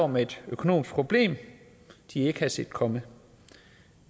med et økonomisk problem de ikke havde set komme